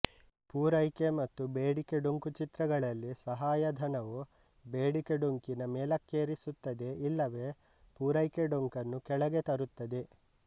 ಪೂರೈಕೆ ಮತ್ತು ಬೇಡಿಕೆ ಡೊಂಕು ಚಿತ್ರಗಳಲ್ಲಿ ಸಹಾಯಧನವು ಬೇಡಿಕೆ ಡೊಂಕಿನ ಮೇಲೊಕ್ಕೇರಿಸುತ್ತದೆ ಇಲ್ಲವೇ ಪೂರೈಕೆ ಡೊಂಕನ್ನು ಕೆಳಗೆ ತರುತ್ತದೆ